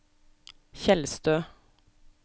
Tjeldstø